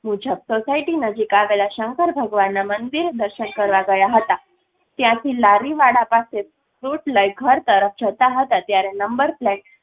મુજબ સોસાયટી નજીક આવેલા શંકરભગવાનના મંદિરે દર્શન કરવા ગયા હતા ત્યાંથી લારીવાળા પાસે fruit લઈ ઘર તરફ જતાં હતા ત્યારે નંબર પ્લેટ